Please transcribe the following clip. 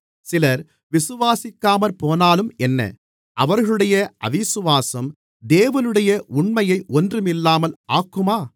சிலர் விசுவாசிக்காமற்போனாலும் என்ன அவர்களுடைய அவிசுவாசம் தேவனுடைய உண்மையை ஒன்றுமில்லாமல் ஆக்குமா